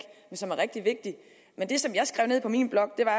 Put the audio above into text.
som er rigtig vigtig og det som jeg skrev ned på min blok da